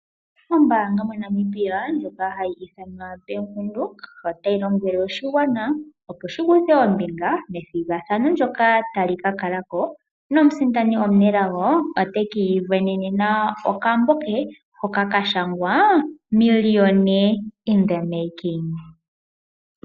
Ombanga moNamibia ndjoka hayi ithanwa Bank Windhoek otayi lombwele oshigwana opo shi kuthe ombinga methigathano ndyoka tali ka kala ko nomusindani omunelago oteki isindanena okambo ke hoka kashangwa Millionaire in the Making.